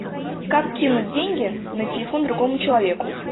как кинуть деньги на телефон другому человеку